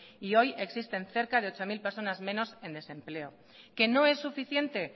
y hoy existen cerca de ocho mil personas menos en desempleo que no es suficiente